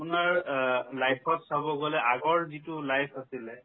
আপোনাৰ অ life ত চাব গ'লে আগৰ যিটো life আছিলে